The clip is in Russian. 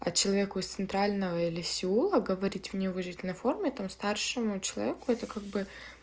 а человеку из с центрального или сеула говорить в неуважительной форме там старшему человеку это как бы